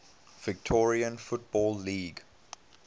victorian football league